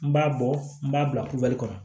N b'a bɔ n b'a bila kubali kɔnɔ